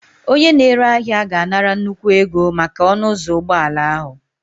Onye na-ere ahịa ga-anara nnukwu ego maka ọnụ ụzọ ụgbọala ahụ